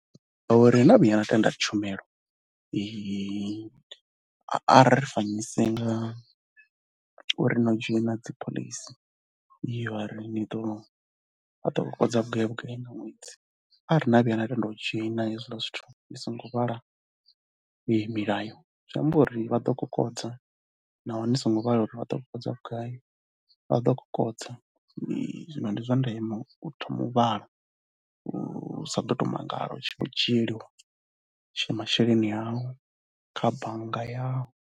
Ngauri na vhuya na tenda tshumelo a ri fanyise ngauri no dzhoina dzi phoḽisi yo ri ni ḓo, vha ḓo kokodza vhugai gai nga ṅwedzi. Arali na vhuya na tenda u dzhoina hezwiḽa zwithu ni songo ni vhala milayo, zwi amba uri vha ḓo kokodza naho ni songo vhala milayo. Ni songo vhala uri vha ḓo kokodza vhugai, vha ḓo kokodza. Zwino ndi zwa ndeme u thoma u vhala, u sa ḓo tou mangala u tshi vho dzhieliwa masheleni au kha bannga yau.